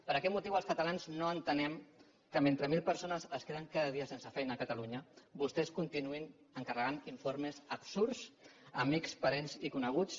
per aquest motiu els catalans no entenem que mentre mil persones es queden cada dia sense feina a catalunya vostès continuïn encarregant informes absurds a amics parents i coneguts